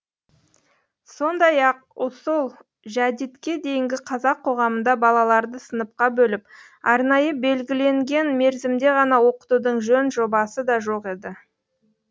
сондай ақ ұсул жәдитке дейінгі қазақ қоғамында балаларды сыныпқа бөліп арнайы белгіленген мерзімде ғана оқытудың жөн жобасы да жоқ еді